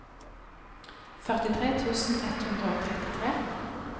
førtitre tusen ett hundre og trettitre